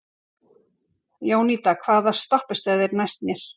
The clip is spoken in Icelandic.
Jónída, hvaða stoppistöð er næst mér?